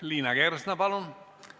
Liina Kersna, palun!